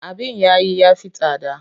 Abin yayi ya fi tsada.